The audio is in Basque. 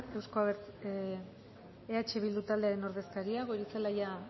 eh bildu taldearen ordezkaria goirizelaia